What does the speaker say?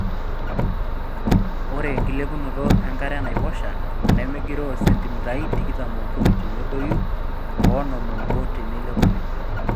Ore enkilepunoto enkare enaiposha nemegiroo sentimitai tikitam ookuni tenedoyio oo onom oobo teneeilep oleng.